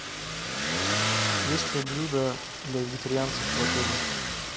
есть ли блюда для вегетарианцев в отеле